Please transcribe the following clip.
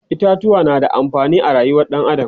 itatuwa na da amfani a rayuwar ɗan adam